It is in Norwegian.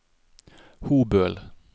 Hobøl